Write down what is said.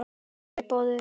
Mér er boðið.